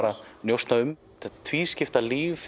að njósna um þetta tvískipta líf